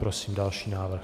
Prosím další návrh.